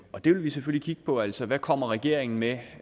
vil vi selvfølgelig kigge på altså hvad kommer regeringen med